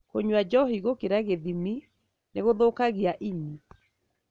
Kũnyua njohi gũkĩra gĩthimi nĩ gũthukagia ini.